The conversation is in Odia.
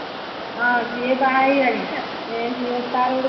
ହଁ ସିଏ ବାହା ହେଇଗଲାଣି ସେଇ ତାର ଗୋଟେ ପୁଅ